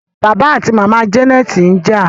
bàbá ati màmá Janet's nja.